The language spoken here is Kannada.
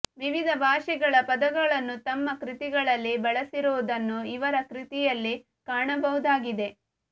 ವಿವಿಧ ಭಾಷೆಗಳ ಪದಗಳನ್ನು ತಮ್ಮ ಕೃತಿಗಳಲ್ಲಿ ಬಳಸಿರುವುದನ್ನು ಇವರ ಕೃತಿಯಲ್ಲಿ ಕಾಣಬಹುದಾಗಿದೆ